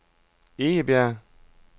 Egebjerg